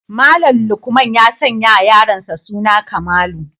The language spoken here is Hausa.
Malam lukman ya sanyawa yaronsa suna kamalu